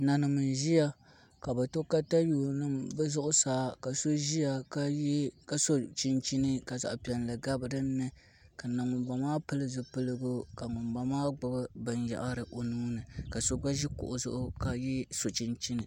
Nanim n ʒiya ka bi to katawiya nima bi zuɣusaa ka so ʒiya ka so chinchini ka zaɣ piɛlli gabi dinni ka na ŋunboŋo maa pili zipiligu ka ŋunbala maa gbubi binyahari o nuuni ka so gba ʒi kuɣu zuɣu ka so chinchini